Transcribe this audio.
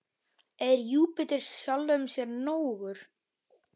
Er Júpíter sjálfum sér nógur?